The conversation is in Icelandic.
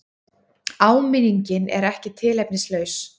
Áminningin er ekki tilefnislaus.